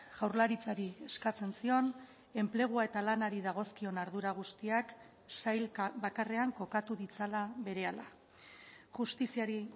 jaurlaritzari eskatzen zion enplegua eta lanari dagozkion ardura guztiak sailka bakarrean kokatu ditzala berehala justiziari